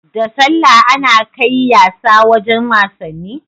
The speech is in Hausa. Da sallah Ana kai yasa wajan wasanni